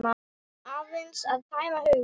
Aðeins að tæma hugann.